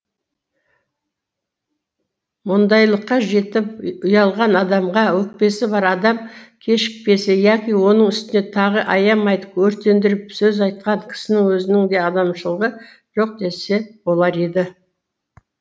мұндайлыққа жетіп ұялған адамға өкпесі бар адам кешікпесе яки оның үстіне тағы аямай өртендіріп сөз айтқан кісінің өзінің де адамшылығы жоқ десе болар дейді